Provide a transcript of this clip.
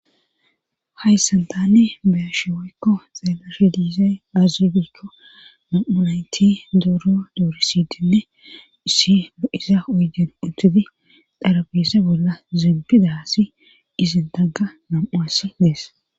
Hayssan tann beyashe woykko xeelashi diizey azubikko na7unayti dooro doorisidinne issi ba iza oygen utudi dharabise bolla zimpida si izin tagga nam7uasi dees